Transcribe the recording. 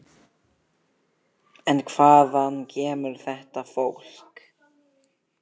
En hvaðan kemur þetta fólk?